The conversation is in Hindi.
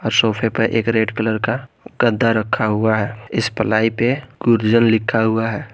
और सोफे पे एक रेड कलर का गद्दा रखा हुआ है इस प्लाई पे गुरजन लिखा हुआ है।